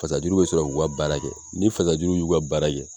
Fasajuru bɛ sɔrɔ k'u ka baara kɛ, ni fasajuru y'u ka baara kɛ